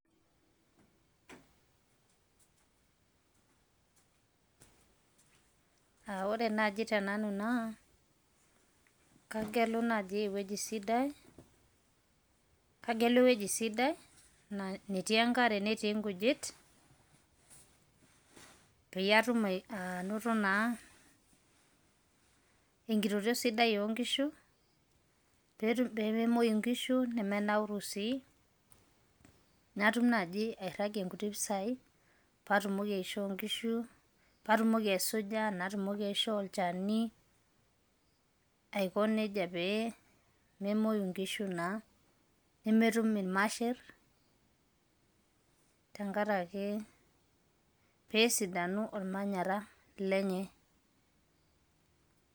Ore naaji te nanu naa kagelu naaji eweji sidai netii enkare netii inkujit peyie aatum anoto naa inkitoria sidai oonkishu peememoi inkishu nemeinauru sii natum naaji airagie nkutii mpisai paatumoki aishoo inkishu, paatumoki aisuja natumoki aishoo olchani aikoneja peememoi inkishu naa, nemetum irmasherr tengaraki peesidanu ormanyarra lenyee.